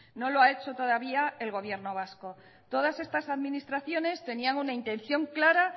no lo ha hecho todavía el gobierno vasco todas estas administraciones tenían una intención clara